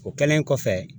O kɛlen kɔfɛ